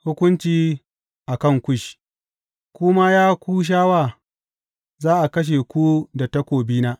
Hukunci a kan Kush Ku ma, ya Kushawa, za a kashe ku da takobina.